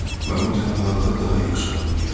Mən bu tənhalığı daha yaxşı anlayıram.